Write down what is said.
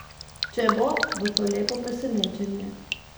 Če bo, bo to lepo presenečenje.